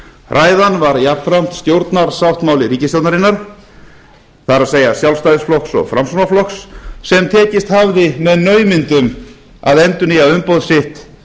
ræðan var jafnframt stjórnarsáttmáli ríkisstjórnarinnar það sjálfstæðisflokks og framsóknarflokks sem tekist hafði með naumindum að endurnýja umboð sitt í